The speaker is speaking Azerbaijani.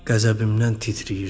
Qəzəbimdən titrəyirdim.